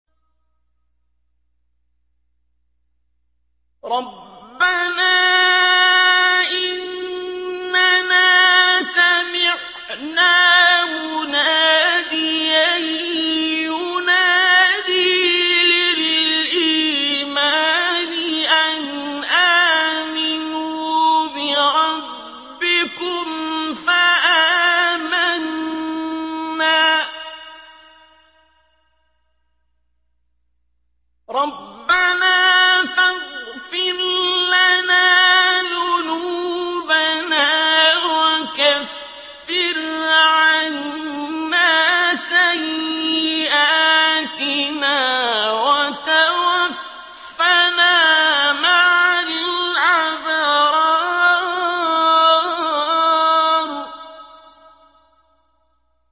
رَّبَّنَا إِنَّنَا سَمِعْنَا مُنَادِيًا يُنَادِي لِلْإِيمَانِ أَنْ آمِنُوا بِرَبِّكُمْ فَآمَنَّا ۚ رَبَّنَا فَاغْفِرْ لَنَا ذُنُوبَنَا وَكَفِّرْ عَنَّا سَيِّئَاتِنَا وَتَوَفَّنَا مَعَ الْأَبْرَارِ